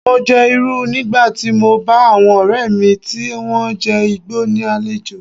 Mo jẹ Irú nígbà tí mo bá àwọn ọ̀rẹ́ mi tí wón jẹ́ Ìgbò ní àlejò.